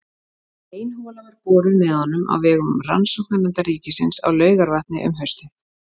Ein hola var boruð með honum á vegum Rannsóknanefndar ríkisins á Laugarvatni um haustið.